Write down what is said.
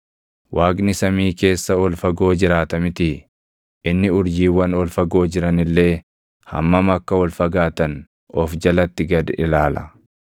“Waaqni samii keessa ol fagoo jiraata mitii? Inni urjiiwwan ol fagoo jiran illee hammam akka ol fagaatan of jalatti gad ilaala!